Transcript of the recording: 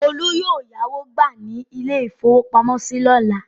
Olú yóò yáwó gbà ní ilé-ìfowópamọ́sí lọ́la.